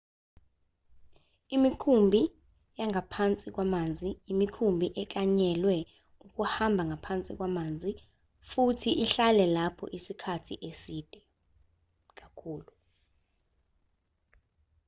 imikhumbi yangaphansi kwamanzi imikhumbi eklanyelwe ukuhamba ngaphansi kwamanzi futhi ihlale lapho isikhathi eside kakhulu